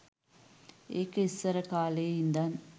ඒක ඉස්සරකාලේ ඉඳන්